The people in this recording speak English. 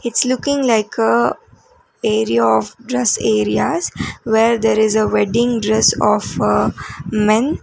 its looking like a area of dress areas where there is a wedding dress of a men.